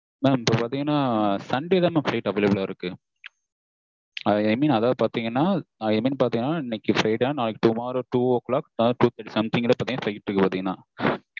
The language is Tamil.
mam இப்போ பார்த்தீங்கன்னா sunday தா mam flight available ல இருக்கு. i mean பாத்தீங்கன்னா i mean பாத்தீங்கன்னா இன்னிக்கி friday நாளைக்கு tomorrow two o'clock sharp something நா இருக்கு பாத்தீங்கன்னா